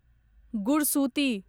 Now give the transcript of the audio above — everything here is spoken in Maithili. गुरसुती